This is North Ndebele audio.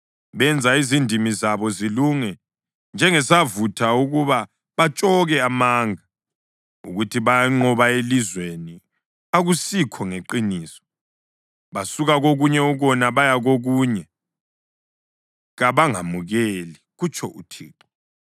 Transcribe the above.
“Benza izindimi zabo zilunge njengesavutha ukuba batshoke amanga, ukuthi bayanqoba elizweni akusikho ngeqiniso. Basuka kokunye ukona baye kokunye; kabangamukeli,” kutsho uThixo.